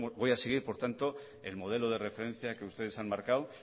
voy a seguir por tanto el modelo de referencia que ustedes han marcado